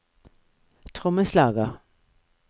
trommeslager